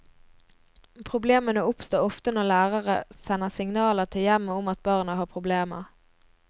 Problemene oppstår ofte når lærere sender signaler til hjemmet om at barna har problemer.